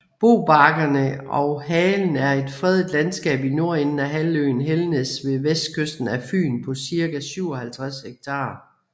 Bobakkerne og Halen er et fredet landskab på nordenden af halvøen Helnæs ved vestkysten af Fyn på cirka 57 hektar